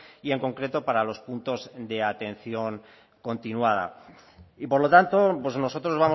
y en concreto para los puntos de atención continuada y por lo tanto nosotros